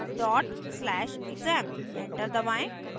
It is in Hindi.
/exam एंटर दबाएं